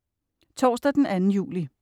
Torsdag den 2. juli